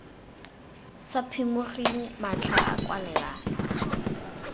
sa phimogeng matlha a kwalelano